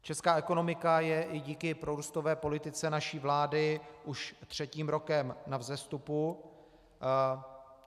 Česká ekonomika je i díky prorůstové politice naší vlády už třetím rokem na vzestupu.